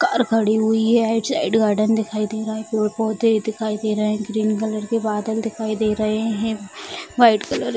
car खड़ी हुई है साइड गार्डन दिखाई दे रहा है पेड़-पौधे दिखाई दे रहे हैं ग्रीन कलर के बादल दिखाई दे रहे हैं वाइट कलर --